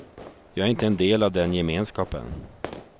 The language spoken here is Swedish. Jag är inte en del av den gemenskapen.